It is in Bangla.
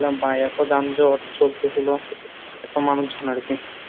ভাই এতো যানজট চলতেছিল এতো মানুষজন আর কী।